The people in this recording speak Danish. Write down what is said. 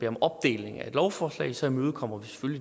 om opdeling af et lovforslag så imødekommer